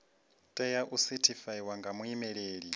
tea u sethifaiwa nga muimeli